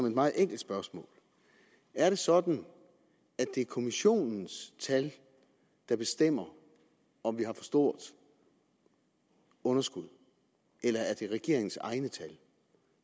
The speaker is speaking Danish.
et meget enkelt spørgsmål er det sådan at det er kommissionens tal der bestemmer om vi har for stort underskud eller er det regeringens egne tal